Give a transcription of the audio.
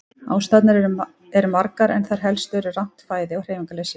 Ástæðurnar eru margar en þær helstu eru rangt fæði og hreyfingarleysi.